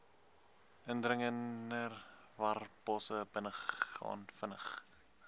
indringerwarbosse binnegaan vinnig